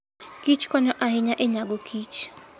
kich konyo ahinya e nyago kich.